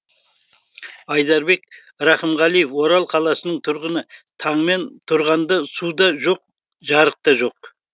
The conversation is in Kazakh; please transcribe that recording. айдарбек рақымғалиев орал қаласының тұрғыны таңмен тұрғанда су да жоқ жарық та жоқ